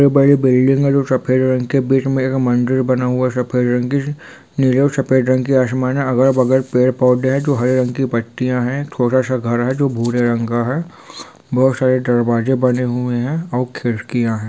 यह बड़ी बिल्डिंग है जो सफेद रंग की बीच में एक मंदिर बना हुआ है सफेद रंग की जो सफेद रंग की आसमान है अगल-बगल पेड़-पौधे है जो हरे रंग की पत्तियां है छोटा सा घर है जो भूरे रंग का है बहुत सारे दरवाजे बने हुए है और खिड़कियां है।